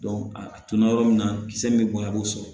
a tuna yɔrɔ min na kisɛ min bɛ bɔ i b'o sɔrɔ